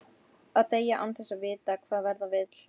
Að deyja, án þess að vita hvað verða vill.